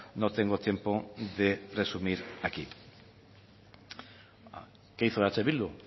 no tengo tiempo de resumir aquí qué hizo eh bildu